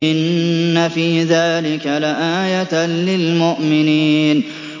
إِنَّ فِي ذَٰلِكَ لَآيَةً لِّلْمُؤْمِنِينَ